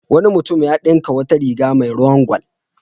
Wani mutunm ya dinka wata riga mai ruwan gwal.